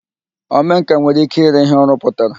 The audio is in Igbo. Omenkà nwere ike ire ihe ọ rụpụtara